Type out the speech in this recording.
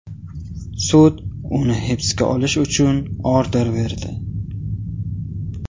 Sud uni hibsga olish uchun order berdi.